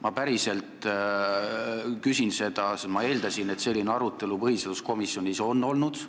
Ma päriselt küsin seda, sest ma eeldasin, et selline arutelu põhiseaduskomisjonis on olnud.